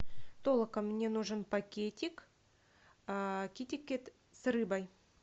толока мне нужен пакетик китикет с рыбой